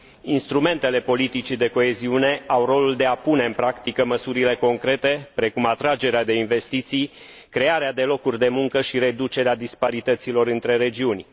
Instrumentele politicii de coeziune au rolul de a pune în practică măsurile concrete, precum atragerea de investiții, crearea de locuri de muncă și reducerea disparităților între regiuni.